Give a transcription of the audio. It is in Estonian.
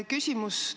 Küsimus on järgmine.